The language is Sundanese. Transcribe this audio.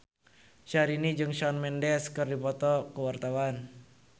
Syahrini jeung Shawn Mendes keur dipoto ku wartawan